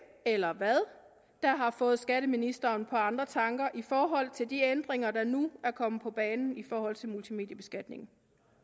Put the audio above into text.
eller hvad der har fået skatteministeren på andre tanker i forhold til de ændringer der nu er kommet på banen i forhold til multimediebeskatningen